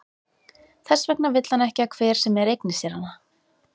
Þess vegna vill hann ekki að hver sem er eigni sér hana.